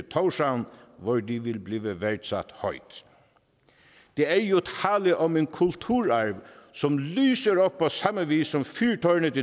i tórshavn hvor de vil blive værdsat højt der er jo tale om en kulturarv som lyser op på samme vis som fyrtårnet